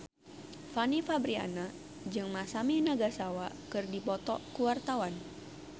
Fanny Fabriana jeung Masami Nagasawa keur dipoto ku wartawan